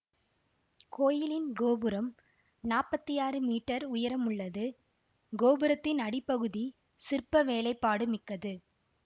கோயிலின் கோபுரம் நாப்பத்தி ஆறு மீட்டர் உயரமுள்ளது கோபுரத்தின் அடிப்பகுதி சிற்ப வேலைப்பாடுமிக்கது